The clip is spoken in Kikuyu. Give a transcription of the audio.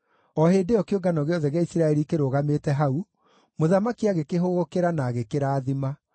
O hĩndĩ ĩyo, kĩũngano gĩothe gĩa Isiraeli kĩrũgamĩte hau, mũthamaki agĩkĩhũgũkĩra na agĩkĩrathima.